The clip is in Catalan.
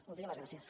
moltíssimes gràcies